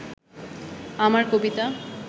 আমার কবিতা